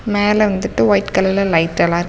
மேல வந்துட்டு வைட் கலர்ல லைட்டெல்லா இரு --